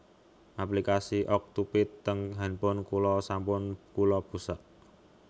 Aplikasi Okcupid teng handphone kula sampun kula busek